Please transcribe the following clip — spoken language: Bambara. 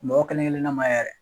Mɔgɔ kelen kelenna ma yɛrɛ.